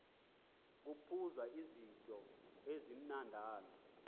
kuphuzwa izityo ezimnandana